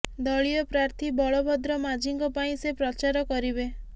ଦଳୀୟ ପ୍ରାର୍ଥୀ ବଳଭଦ୍ର ମାଝିଙ୍କ ପାଇଁ ସେ ପ୍ରଚାର କରିବେ